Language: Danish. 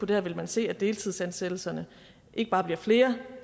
det her ville vi se at deltidsansættelserne ikke bare bliver flere